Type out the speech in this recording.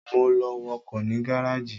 Mo lọ wọkọ̀ ní gáràjì